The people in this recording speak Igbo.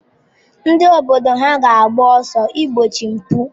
Ndị obodo ha ga-agba mbọ igbochi mpụ?